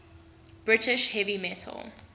british heavy metal